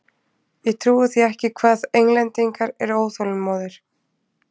Ég trúi því ekki hvað Englendingar eru óþolinmóðir!